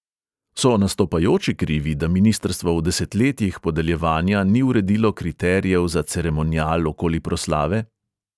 So nastopajoči krivi, da ministrstvo v desetletjih podeljevanja ni uredilo kriterijev za ceremonial okoli proslave?